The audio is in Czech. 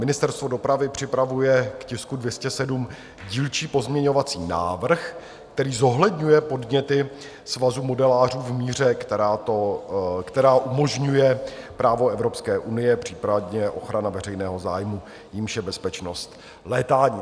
Ministerstvo dopravy připravuje k tisku 207 dílčí pozměňovací návrh, který zohledňuje podněty Svazu modelářů v míře, která umožňuje právo Evropské unie, případně ochrana veřejného zájmu, jímž je bezpečnost létání.